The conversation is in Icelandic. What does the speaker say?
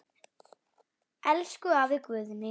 Elsku afi Guðni.